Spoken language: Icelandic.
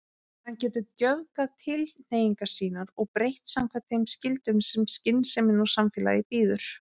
Hann getur göfgað tilhneigingar sínar og breytt samkvæmt þeim skyldum sem skynsemin og samfélagið býður.